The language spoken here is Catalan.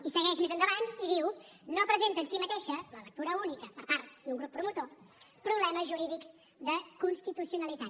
i segueix més endavant i diu no presenta en si mateixa la lectura única per part d’un grup promotor problemes jurídics de constitucionalitat